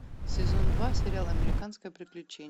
сезон два сериал американское приключение